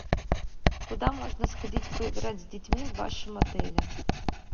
куда можно сходить поиграть с детьми в вашем отеле